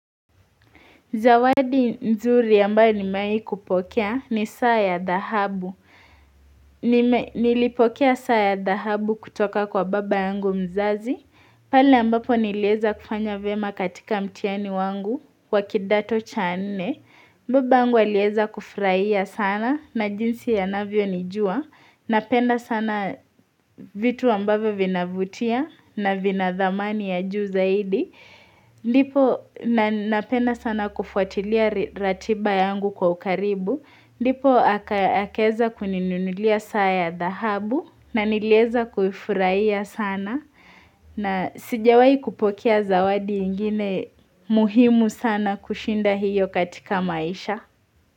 Zawadi nzuri ambayo nimewahi kupokea ni saa ya dhahabu. Nilipokea saa ya dhahabu kutoka kwa baba yangu mzazi. Pale ambapo nilieza kufanya vyema katika mtihani wangu wa kidato cha nne. Baba yangu alieza kufurahia sana na jinsi anavyonijua. Napenda sana vitu ambavyo vinavutia na vina thamani ya juu zaidi. Ndipo na ninapenda sana kufuatilia ratiba yangu kwa ukaribu ddipo akaeza kuninunulia saya dahabu na nilieza kuifurahia sana na sijawahi kupokea zawadi ingine muhimu sana kushinda hiyo katika maisha.